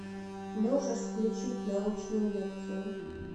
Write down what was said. можешь включить научную лекцию